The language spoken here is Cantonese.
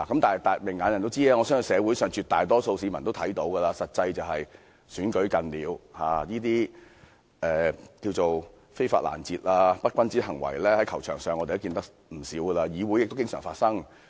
但是，明眼人也知道，我相信社會上絕大多數市民也看到，實際上是臨近立法會補選，這些"非法攔截"和"不君子行為"，我們在球場上看過不少，在議會中也經常發生。